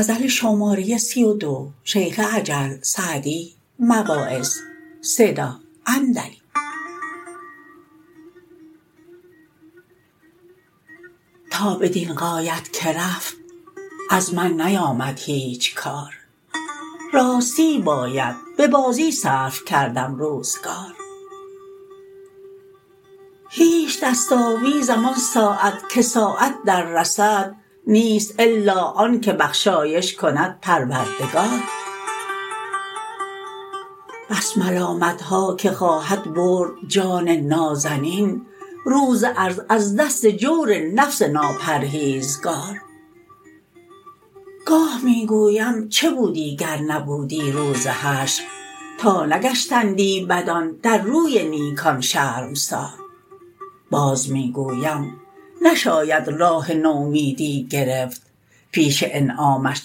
تا بدین غایت که رفت از من نیامد هیچ کار راستی باید به بازی صرف کردم روزگار هیچ دست آویزم آن ساعت که ساعت در رسد نیست الا آن که بخشایش کند پروردگار بس ملامتها که خواهد برد جان نازنین روز عرض از دست جور نفس ناپرهیزگار گاه می گویم چه بودی گر نبودی روز حشر تا نگشتندی بدان در روی نیکان شرمسار باز می گویم نشاید راه نومیدی گرفت پیش انعامش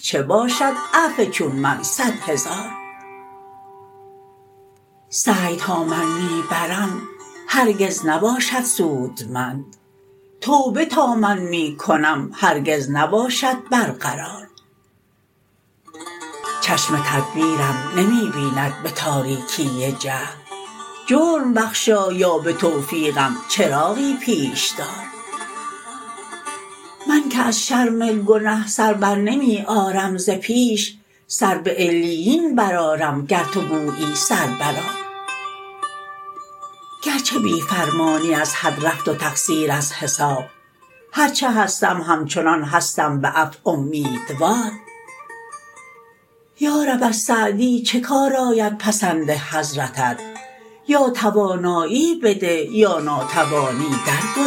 چه باشد عفو چون من صد هزار سعی تا من می برم هرگز نباشد سودمند توبه تا من می کنم هرگز نباشد برقرار چشم تدبیرم نمی بیند به تاریکی جهل جرم بخشا یا به توفیقم چراغی پیش دار من که از شرم گنه سر برنمی آرم ز پیش سر به علیین برآرم گر تو گویی سر برآر گرچه بی فرمانی از حد رفت و تقصیر از حساب هر چه هستم همچنان هستم به عفو امیدوار یارب از سعدی چه کار آید پسند حضرتت یا توانایی بده یا ناتوانی در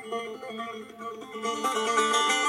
گذار